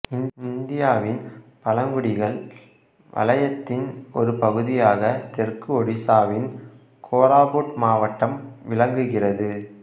இந்தியாவின் பழங்குடிகள் வளையத்தின் ஒரு பகுதியாக தெற்கு ஒடிசாவின் கோராபுட் மாவட்டம் விளங்குகிறது